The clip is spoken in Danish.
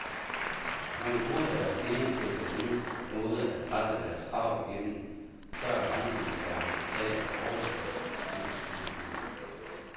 Når de bruger deres stilling til på den måde at presse deres krav igennem, så er grænsen for det acceptable overskredet, lyder skudsmålet.